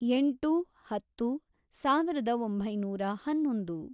ಎಂಟು, ಹತ್ತು, ಸಾವಿರದ ಒಂಬೈನೂರ ಹನ್ನೊಂದು